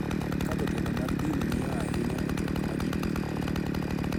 Ka jotelo mag din ng�iyo ahinya e twak ma ji duto timo